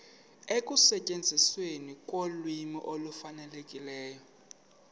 ekusetyenzisweni kolwimi olufanelekileyo